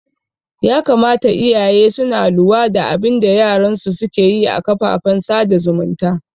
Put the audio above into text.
Ya kamata iyaye suna luwa da abinda yaran su suke yi a kafafen sada zumunta